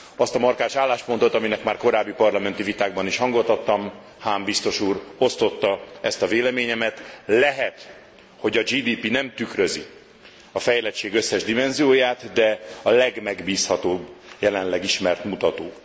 Azt a markáns álláspontot, aminek már korábbi parlamenti vitákban is hangot adtam, Hahn biztos úr osztotta ezt a véleményemet lehet, hogy a GDP nem tükrözi a fejlettség összes dimenzióját, de a legmegbízhatóbb jelenleg ismert mutató.